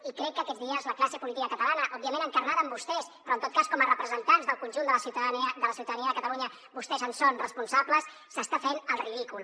i crec que aquests dies la classe política catalana òbviament encarnada en vostès però en tot cas com a representants del conjunt de la ciutadania de catalunya vostès en són responsables està fent el ridícul